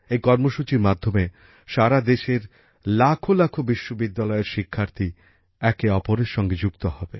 এই কর্মসূচির মাধ্যমে সারাদেশের লক্ষ লক্ষ বিশ্ববিদ্যালয়ের শিক্ষার্থী একে অপরের সঙ্গে যুক্ত হবে